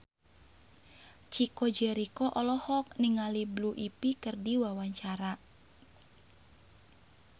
Chico Jericho olohok ningali Blue Ivy keur diwawancara